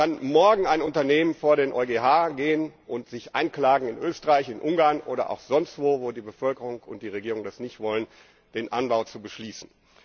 Dann kann morgen ein Unternehmen vor den EuGH gehen und sich einklagen in Österreich, in Ungarn oder auch sonst wo, wo die Bevölkerung und die Regierung das nicht wollen, den Anbau zu beschließen.